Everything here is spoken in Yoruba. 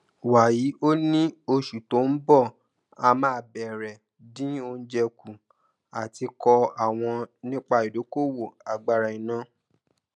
wàyí o ní oṣù tó ń bọ a máa bẹrẹ dín oújẹ kù àti kọọ àwọn nípa ìdókòwò agbára iná